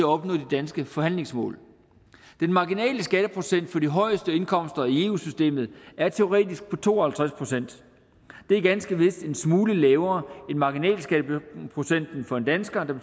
opnå de danske forhandlingsmål den marginale skatteprocent for de højeste indkomster i eu systemet er teoretisk på to og halvtreds procent det er ganske vist en smule lavere end marginalskatteprocenten for en dansker der